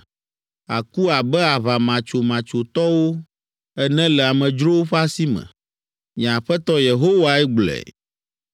Àku abe aʋamatsomatsotɔwo ene le amedzrowo ƒe asi me. Nye Aƒetɔ Yehowae gblɔe.”